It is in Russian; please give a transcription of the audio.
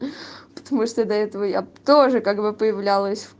потому что до этого я тоже как бы появлялась